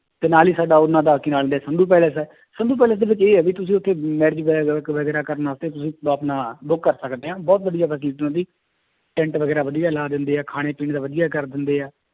ਤੇ ਨਾਲ ਹੀ ਸਾਡਾ ਉਹਨਾਂ ਦਾ ਕੀ ਨਾਂ ਲੈਂਦੇ ਹੈ ਸੰਧੂ palace ਹੈ, ਸੰਧੂ palace ਦੇ ਵਿੱਚ ਇਹ ਹੈ ਵੀ ਤੁਸੀਂ ਉੱਥੇ marriage ਕਰਨਾ ਉੱਥੇ ਤੁਸੀਂ ਆਪਣਾ book ਕਰ ਸਕਦੇੇ ਹਾਂ ਬਹੁਤ ਵਧੀਆ facility ਉਹਦੀ ਟੈਂਟ ਵਗ਼ੈਰਾ ਵਧੀਆ ਲਾ ਦਿੰਦੇ ਹੈ ਖਾਣੇ ਪੀਣੇ ਦਾ ਵਧੀਆ ਕਰ ਦਿੰਦੇ ਹੈ